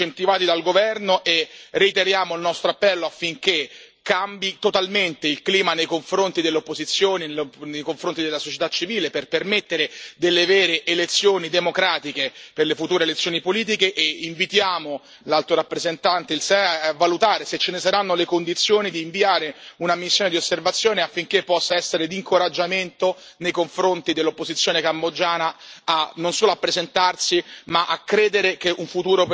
Denunciamo anche i fenomeni di accaparramento dei terreni in questo momento incentivati dal governo e reiteriamo il nostro appello affinché cambi totalmente il clima nei confronti dell'opposizione e nei confronti della società civile per permettere che le future elezioni politiche si svolgano in modo democratico. Invitiamo infine l'Alto rappresentante e il SEAE a valutare, se ce ne saranno le condizioni, di inviare una missione di osservazione affinché possa essere d'incoraggiamento nei confronti dell'opposizione cambogiana,